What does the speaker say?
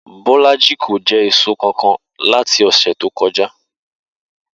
Bó̩lájì kò je̩ èso kankan láti ò̩sè̩ tó ko̩já